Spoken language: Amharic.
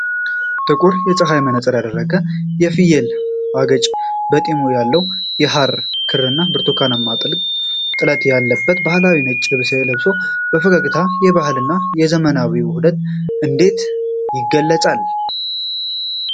ጥቁር የፀሐይ መነጽር ያደረገ፣ የፍየል አገጭ ጢም ያለው ሰው፣ የሐር ክርና ብርቱካናማ ጥልፍ ያለበት ባህላዊ ነጭ ልብስ ለብሶ ፈገግታው የባህልና የዘመናዊነት ውህደትን እንዴት ይገልጻል?